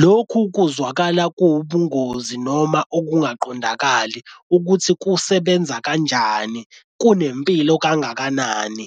Lokhu kuzwakala kuwubungozi noma ukungaqondakali ukuthi kusebenza kanjani kunempilo kangakanani.